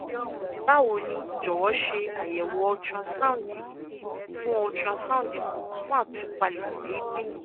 bawo ni jọwọ ṣe ayẹwo ultrasound ikun fun ultrasound ikun fun itupalẹ deede